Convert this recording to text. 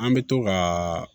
An bɛ to ka